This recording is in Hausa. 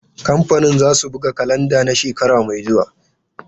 Kamfanin zasu buga kalanda na shekara mai zuwa.